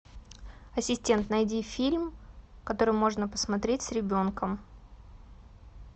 ассистент найди фильм который можно посмотреть с ребенком